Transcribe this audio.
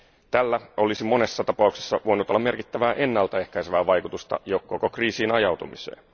Tällä olisi monessa tapauksessa voinut olla merkittävää ennaltaehkäisevää vaikutusta jo koko kriisiin ajautumiseen.